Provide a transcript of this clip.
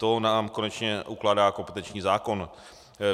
To nám konečně ukládá kompetenční zákon.